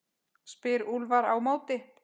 spyr Úlfar á móti?